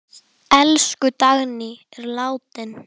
Elsku Dagný er látin.